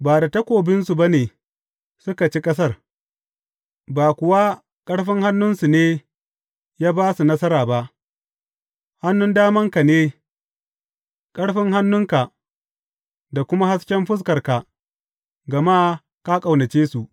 Ba da takobinsu ba ne suka ci ƙasar, ba kuwa ƙarfin hannunsu ne ya ba su nasara ba; hannun damanka ne, ƙarfin hannunka, da kuma hasken fuskarka, gama ka ƙaunace su.